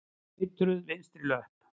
Eitruð vinstri löpp.